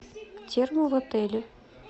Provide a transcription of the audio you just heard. термы в отеле